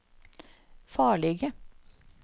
farlige